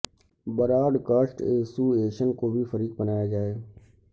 Broad cost association کو بھی فریق بنایا جائے